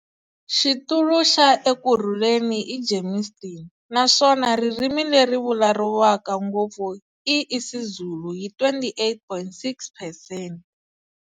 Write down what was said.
Xitulu xa Ekurhuleni i Germiston naswona ririmi leri vulavuriwaka ngopfu i Isizulu hi 28.6 percent.